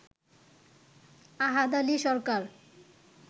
আহাদ Ali সরকার